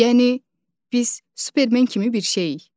Yəni biz supermen kimi birik?